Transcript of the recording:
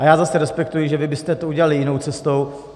A já zase respektuji, že vy byste to udělali jinou cestou.